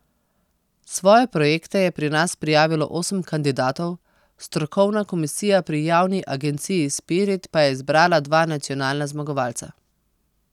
Svoje projekte je pri nas prijavilo osem kandidatov, strokovna komisija pri javni agenciji Spirit pa je izbrala dva nacionalna zmagovalca.